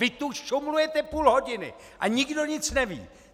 Vy tu šumlujete půl hodiny a nikdo nic neví.